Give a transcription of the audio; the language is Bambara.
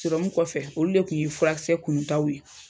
kɔfɛ olu de tun ye furakisɛ kununtaw ye.